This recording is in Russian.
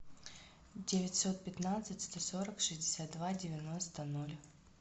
девятьсот пятнадцать сто сорок шестьдесят два девяносто ноль